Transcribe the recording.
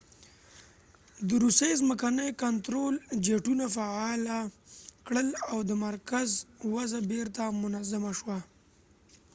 د روسیې ځمکني کنترول جیټونه فعاله کړل او د مرکز وضع بیرته منظمه شوه